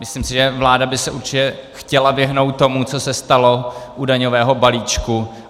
Myslím si, že vláda by se určitě chtěla vyhnout tomu, co se stalo u daňového balíčku.